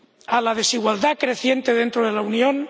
a la desigualdad creciente dentro de la Unión